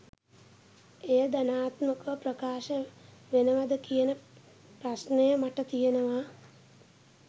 එය ධනාත්මකව ප්‍රකාශ වෙනවද කියන ප්‍රශ්නය මට තියෙනවා.